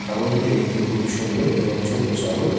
ছাগলটিকে দেখতে খুবই সুন্দর এবং ছোট্ট ছাগল।